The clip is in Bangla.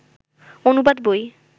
অনুবাদ বই